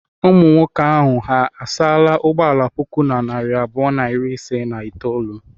Ụmụ nwoke ahụ ha asaala ụgbọala puku na narị abụọ na iri asaa na itolu?